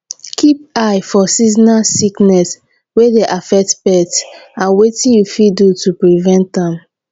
keep eye for seasonal sickness wey dey affect pet and wetin you fit do to prevent am